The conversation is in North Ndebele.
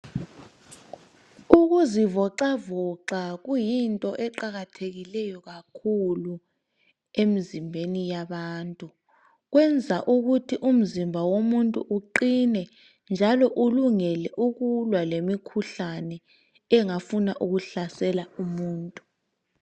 Ukuzivoxavoxa kuyinto eqakathekileyo kakhulu emzimbeni yabantu. Kwenza ukuthi umzimba womuntu uqine njalo ulungele ukulwa lemikhuhlane engafuna ukuhlasela umuntu.